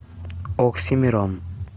оксимирон